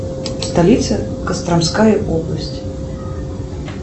столица костромская область